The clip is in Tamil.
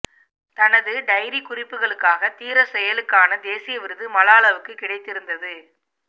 தனது டயரி குறிப்புகளுக்காக தீரச் செயலுக்கான தேசிய விருது மலாலாவுக்கு கிடைத்திருந்தது